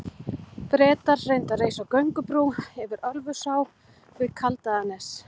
Bretar reyndu að reisa göngubrú yfir Ölfusá við Kaldaðarnes.